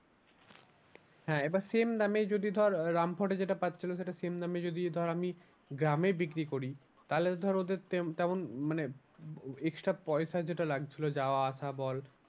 হ্যাঁ এবার same দামেই যদি ধর রামপুরহাটে যেটা পাচ্ছিলো সেটা same দামে যদি ধর আমি গ্রামে বিক্রি করি তাহলে তো ধর ওদের তেমন মানে extra পয়সা যেটা লাগছিলো যাওয়া আসা বল